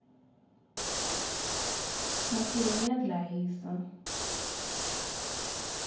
macheleni ya ndlayisa